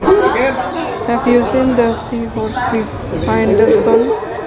Have you seen the seahorse behind the stone